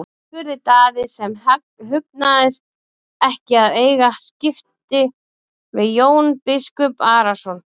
spurði Daði sem hugnaðist ekki að eiga skipti við Jón biskup Arason.